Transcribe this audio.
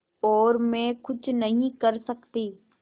और मैं कुछ नहीं कर सकती